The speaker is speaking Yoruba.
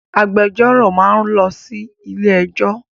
Agbẹjọ́rò máa ń lọ sí ilé ẹ́jọ́.